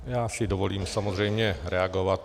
Já si dovolím samozřejmě reagovat.